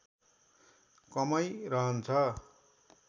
कमै रहन्छ